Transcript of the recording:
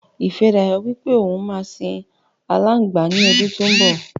Ifẹ́dayọ̀ wípé òun má sìn alangba ní ọdún tó ń bò.